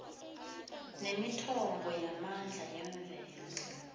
nemithombo yamandla yemvelo